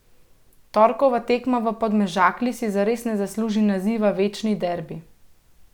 Torkova tekma v Podmežakli si zares ne zasluži naziva večni derbi.